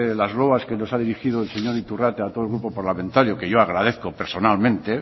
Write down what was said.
las loas que nos ha dirigido el señor iturrate a todo el grupo parlamentario que yo agradezco personalmente